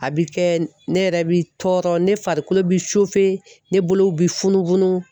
A bi kɛ ne yɛrɛ bi tɔɔrɔ ne farikolo bi ne bolow bi funu funu.